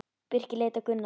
Birkir leit á Gunnar.